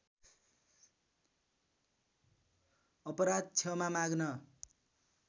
अपराध क्षमा माग्न